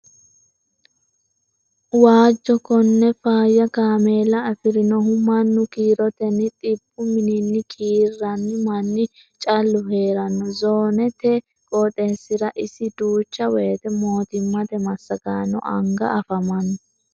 Waajo kone faayya kaameella afirinohu mannu kiiroteni xibbu minini kiiranni manni callu heerano zoonate qooxeessira iso duucha woyte mootimmate massagaano anga anfanni.